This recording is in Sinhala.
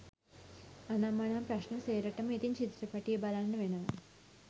අනං මනං ප්‍රශ්ණ සේරටම ඉතිං චිත්‍රපටිය බලන්න වෙනවා